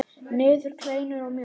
Niður í kleinur og mjólk.